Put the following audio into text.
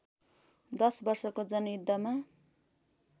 १० वर्षको जनयुद्धमा